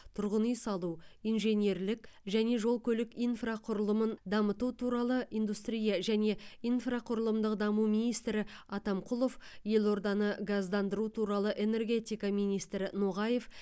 тұрғын үй салу инженерлік және жол көлік инфрақұрылымын дамыту туралы индустрия және инфрақұрылымдық даму министрі атамқұлов елорданы газдандыру туралы энергетика министрі ноғаев